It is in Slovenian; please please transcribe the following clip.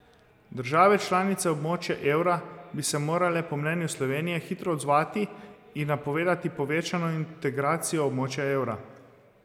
Države članice območja evra bi se morale po mnenju Slovenije hitro odzvati in napovedati povečano integracijo območja evra.